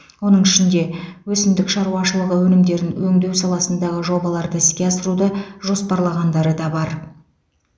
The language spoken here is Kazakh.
оның ішінде өсімдік шаруашылығы өнімдерін өңдеу саласындағы жобаларды іске асыруды жоспарлағандары да бар